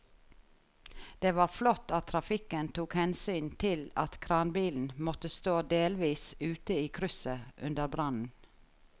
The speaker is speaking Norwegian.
Det var flott at trafikken tok hensyn til at kranbilen måtte stå delvis ute i krysset under brannen.